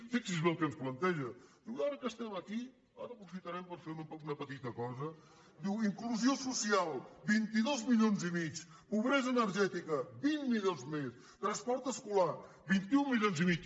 fixi’s bé el que ens planteja diu ara que estem aquí ara aprofitarem per fer una petita cosa diu inclusió social vint dos milions i mig pobresa energètica vint milions més transport escolar vint un milions i mig